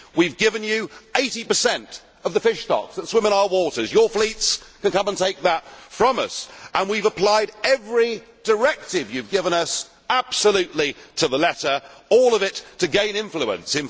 We have given you 80 of the fish stocks that swim in our waters your fleets can come and take that from us and we have applied every directive you have given us absolutely to the letter, all of it to gain influence.